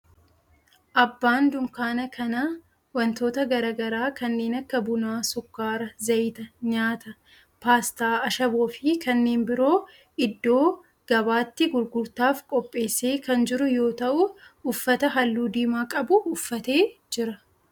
Abbaan dunkaana kanaa wantoota garaa garaa kanneen akka buna, sukkaara, zayita nyaataa, paastaa, ashaboo fi kanneen biroo iddoo gabaatti gurgurtaaf qopheessee kan jiru yoo ta'u uffata halluu diimaa qabu uffatee jira.